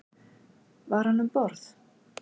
Var hann um borð?